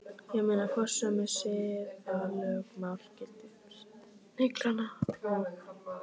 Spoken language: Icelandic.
Ég meina, hvort sömu siðalögmál gildi um snillinga og